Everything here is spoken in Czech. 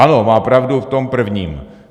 Ano, má pravdu v tom prvním.